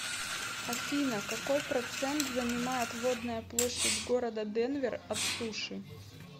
афина какой процент занимает водная площадь города денвер от суши